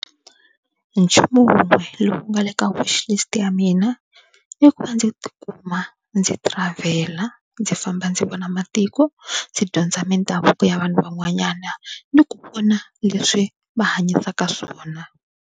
Nchumu wun'we lowu nga le ka Wishlist ya mina i ku va ndzi tikuma ndzi travel-a ndzi famba ndzi vona matiko ndzi dyondza mindhavuko ya vanhu van'wanyana ni ku vona leswi va hanyisaka swona.